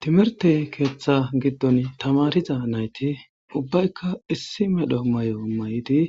Tmirtey keeththa giddon tamariza nayti ubbaykka issi medho mayo may'idi